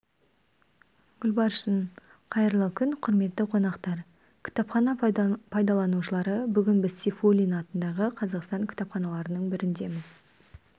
гүлбаршын қайырлы күн құрметті қонақтар кітапхана пайдаланушылары бүгін біз сейфуллин атындағы қазақстан кітапханаларының біріндеміз